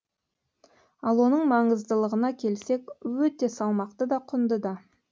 ал оның маңыздылығына келсек өте салмақты да құнды да